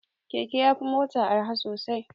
Keke ya fi mota arha sosai.